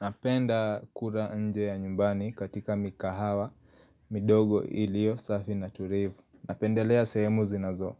Napenda kula nje ya nyumbani katika mikahawa midogo iliyo safi na tulivu Napendelea sehemu zinazo